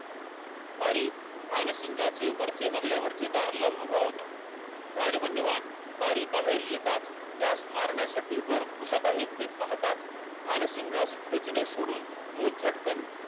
बारी भानसिंगाचे चे वरचे मजला दारलावून उभा होता राजबंधूमान बारी बाहेर येताच त्यास मारण्यासाठी वर गुसत आहे हे पाहताच भानसिंगास ठेचणे सोडून तो झटकन